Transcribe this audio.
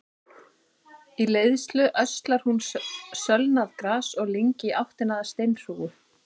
Í leiðslu öslar hún sölnað gras og lyng í áttina að steinhrúgu.